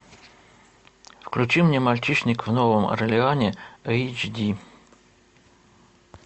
включи мне мальчишник в новом орлеане эйч ди